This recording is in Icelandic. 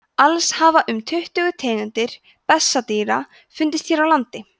alls hafa um tuttugu tegundir bessadýra fundist hér á landi